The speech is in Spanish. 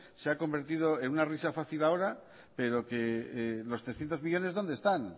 se ha convertido en una risa fácil ahora pero los trescientos millónes dónde están